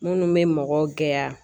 Minnu bɛ mɔgɔw gɛya